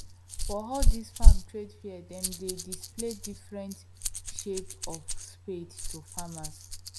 for all this farm trade fair them dey display different shape of spade to farmers